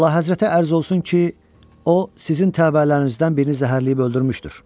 Əlahəzrətə ərz olsun ki, o sizin təbəələrinizdən birini zəhərləyib öldürmüşdür.